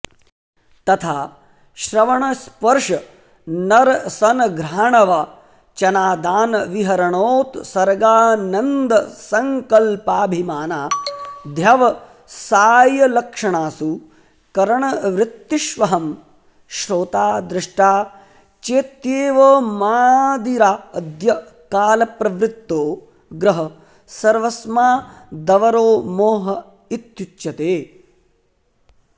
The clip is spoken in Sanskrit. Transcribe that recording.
तथा श्रवणस्पर्शनरसनघ्राणवचनादानविहरणोत्सर्गानन्दसंकल्पाभिमानाध्यवसायलक्षणासु करणवृत्तिष्वहं श्रोता द्रष्टा चेत्येवमादिराद्यकालप्रवृत्तो ग्रहः सर्वस्मादवरो मोह इत्युच्यते